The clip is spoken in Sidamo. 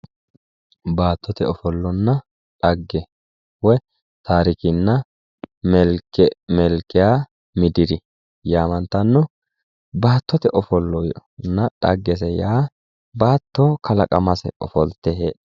Baattote ofollonna dhagge woyi tarikenna melikiya mitiri yaamantanno ,baattote ofollonna dhaggese yaa baatto kalaqamase ofollite.